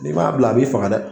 N'i m'a bila a b'i faga dɛ